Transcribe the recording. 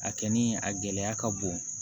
A kɛ ni a gɛlɛya ka bon